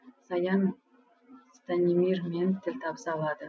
саян станимирмен тіл табыса алады